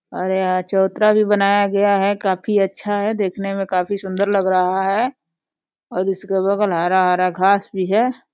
और यहाँ चबूतरा भी बनाया गया है। काफी अच्छा है। देखने मे काफी सुन्दर लग रहा है और इसके बगल हरा हरा घास भी है।